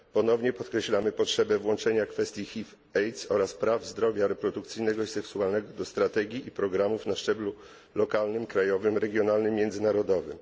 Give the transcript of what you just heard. Ponownie podkreślamy potrzebę włączenia kwestii HIV AIDS oraz praw zdrowia reprodukcyjnego i seksualnego do strategii i programów na szczeblu lokalnym, krajowym, regionalnym, międzynarodowym.